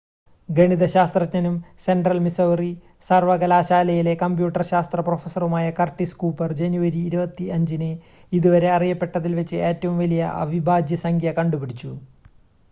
ഗണിത ശാസ്ത്രജ്ഞനും central Missouri സർവ്വകലാശാലയിലെ കമ്പ്യൂട്ടർ ശാസ്ത്ര പ്രൊഫസറുമായ കർട്ടിസ് കൂപ്പർ ജനുവരി 25-ന് ഇതുവരെ അറിയപ്പെട്ടതിൽ വച്ച് ഏറ്റവും വലിയ അവിഭാജ്യ സംഖ്യ കണ്ടുപിടിച്ചു